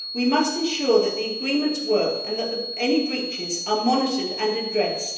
We must ensure that the agreements work and that any breaches are monitored and addressed.